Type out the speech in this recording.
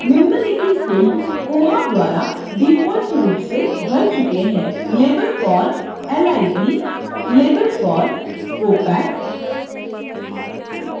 निम्नलिखित fields koha द्वारा default रूप से भर चुके हैं